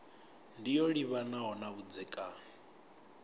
ndi yo livhanaho na vhudzekani